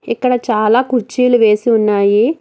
ఇక్కడ చాలా కుర్చీలు వేసి ఉన్నాయి.